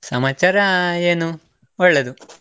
ಸಮಾಚಾರಾ ಏನು ಒಳ್ಳೇದು.